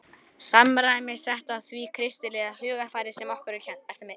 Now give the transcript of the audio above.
Samræmist þetta því kristilega hugarfari sem okkur er kennt?